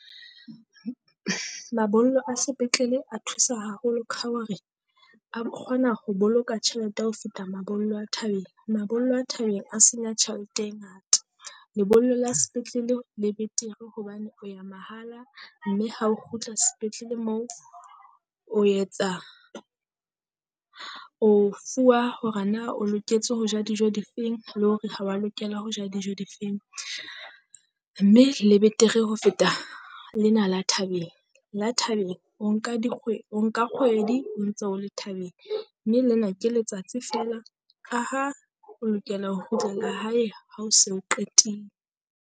Mabollo a sepetlele a thusa haholo ka hore a kgona ho boloka tjhelete ya ho feta mabollo a thabeng. Mabollo a thabeng a senya tjhelete e ngata, lebollo la sepetlele le betere hobane o ya mahala mme ha ho kgutla sepetlele mo o etsa o fuwa hore na o loketse ho ja dijo difeng, le hore ha wa lokela ho ja dijo difeng. Mme le betere ho feta lena la thabeng, la thabeng o nka o nka dikgwedi o ntse o le thabeng. Mme lena ke letsatsi feela ka ha o lokela ho kgutlela hae ha o se o .